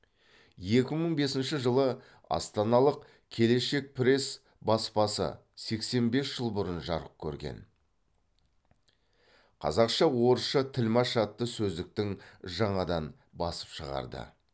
екі мың бесінші жылы астаналық келешек пресс баспасы сексен бес жыл бұрын жарық көрген қазақша орысша тілмаш атты сөздіктің жаңадан басып шығарды